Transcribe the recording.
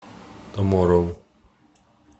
туморроу